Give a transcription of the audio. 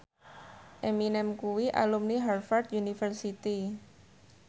Eminem kuwi alumni Harvard university